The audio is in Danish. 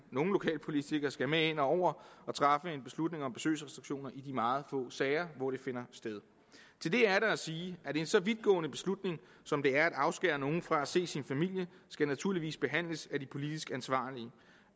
nogle lokalpolitikere skal med ind over og træffe en beslutning om besøgsrestriktioner i de meget få sager hvor det finder sted til det er der at sige at en så vidtgående beslutning som det er at afskære nogen fra at se sin familie naturligvis skal behandles af de politisk ansvarlige i